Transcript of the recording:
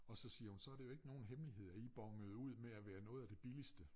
Og så siger hun så det jo ikke nogen hemmelighed at i bonede ud med at være noget af det billigste